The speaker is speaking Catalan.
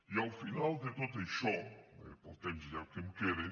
i al final de tot això pel temps ja que em queda